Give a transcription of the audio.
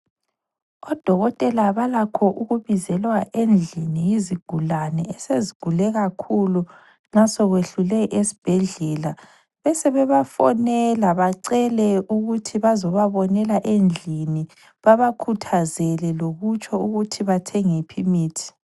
Odokotela balakho ukubizelwa endlini yizigulane esezigule kakhulu nxa sokwehlule esibhedlela besebebafonela bacele ukuthi bezibabonela endlini babakhuthazele lokutsho ukuthi bathenge yiphi imithi.